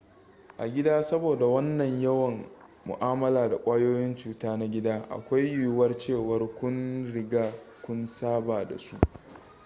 a gida saboda wannan yawan mu'amala da ƙwayoyin cuta na gida akwai yiyuwar cewa tuni kun riga kun saba da su